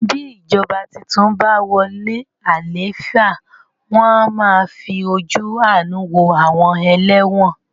Bí ìjọba tuntun bàa wọlé àlééfà, wọn a máa fí ojú àánú wo àwọn ẹlẹ́wọ̀n